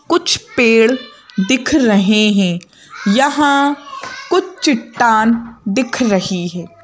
कुछ पेड़ दिख रहे हैं यहाँ कुछ चिट्टान दिख रही है।